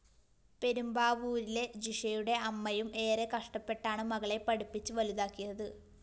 പെരുമ്പാവൂരിലെ ജിഷയുടെ അമ്മയും എറെ കഷ്ടപ്പെട്ടാണ് മകളെ പഠിപ്പിച്ച് വലുതാക്കിയത്